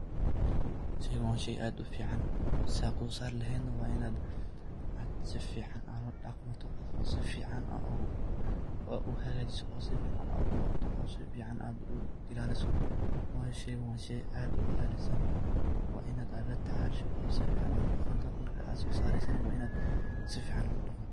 Sheegeyganwa sheey aad u fican setha u saar laheet wa Inaat aad sufican ula daqantoh oo sufican oo hagajeeoh oo sufican AA u ilalisoh , wayi sheeygan wa sheey aad u Qalisan wa Inaat latacashoh macanaha ladaqantoh markat so sareesoh Ina sufican u daqdoh.